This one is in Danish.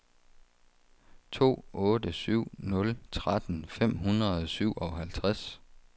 to otte syv nul tretten fem hundrede og syvoghalvtreds